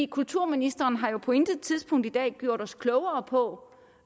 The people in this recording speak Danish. kulturministeren har jo på intet tidspunkt i dag gjort os klogere på